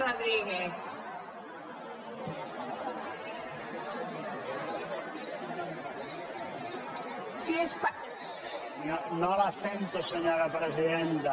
no la sento senyora presidenta